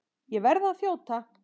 Ég verð að þjóta!